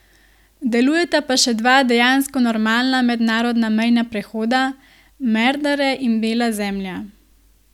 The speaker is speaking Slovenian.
Delujeta pa še dva dejansko normalna mednarodna mejna prehoda, Merdare in Bela zemlja.